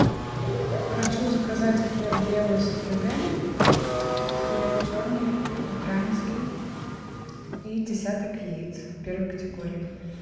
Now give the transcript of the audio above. хочу заказать хлеб белый с отрубями хлеб черный украинский и десяток яиц первой категории